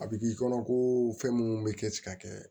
A bɛ k'i kɔnɔ ko fɛn munnu bɛ kɛ ti ka kɛ